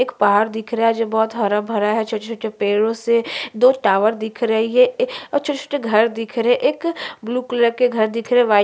एक पहाड़ दिख रहा है जो बहुत हरा-भरा है छोटे-छोटे पेड़ों से दो टावर दिख रहें हैं और छोटे-छोटे घर दिख रहें हैं एक ब्लू कलर के घर दिख रहें हैं वाइट --